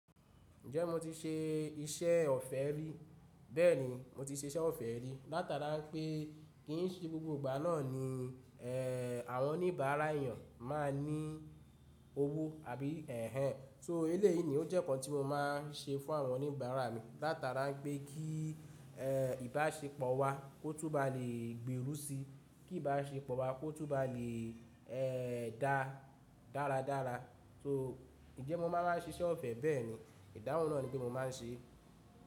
Ǹjẹ́ mo ti ṣe iṣẹ́ ọ̀fẹ́ rí? Bẹ́ẹ̀ni, mo ti ṣe iṣẹ́ ọ̀fẹ́ rí. Látàrá pé kì í ṣe gbogbo ìgbà náà ni eh, àwọn oníbàárà èèyàn máa ní owó àbí ẹ̀hẹ̀nh. So eléyìí ni ó jẹ́ nǹkan tí mo máa ń ṣe fún àwọn oníbàárà mi. Látàrá pé kí eh, ìbáṣepọ̀ wa kó túbàá lè gbèrú si, kí ìbáṣepọ̀ wa kó túbàá lè eh dá dáradára. So ǹjẹ́ mo máa wáa ṣe iṣẹ́ ọ̀fẹ́ bẹ́ẹ̀ni, ìdáhùn náà ni pé mo máa ń ṣe.